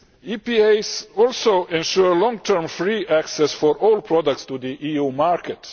EPAs also ensure long term free access for all products to the EU market.